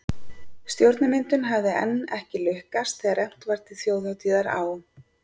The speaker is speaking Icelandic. Stjórnarmyndun hafði enn ekki lukkast þegar efnt var til þjóðhátíðar á